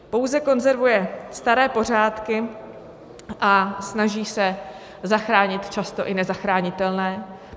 Pouze konzervuje staré pořádky a snaží se zachránit často i nezachranitelné.